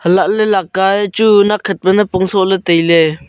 alahley lakae chu nakhat napong sohley tailey.